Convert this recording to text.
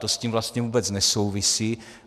To s tím vlastně vůbec nesouvisí.